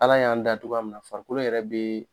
Ala y'an da cogoya min na farikolo yɛrɛ bɛ